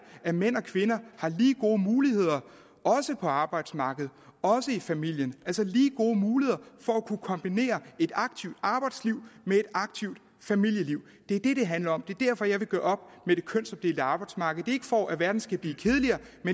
at mænd og kvinder har lige gode muligheder også på arbejdsmarkedet også i familien altså lige gode muligheder for at kunne kombinere et aktivt arbejdsliv med et aktivt familieliv det er det det handler om det er derfor jeg vil gøre op med det kønsopdelte arbejdsmarked det er ikke for at verden skal blive tidligere